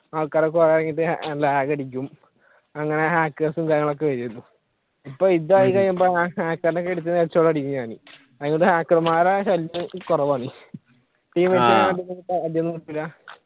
ആൾക്കാരൊക്കെ ഭയങ്കര lag അടിക്കും അങ്ങനെ hackers ഉം കാര്യങ്ങളും ഒക്കെ വരും ഇപ്പോ ഇതായി കഴിയുമ്പോ hacker നെ എടുത്തു head shot അടിക്കും ഞാൻ hacker മാരുടെ ശല്യം കുറവാണ്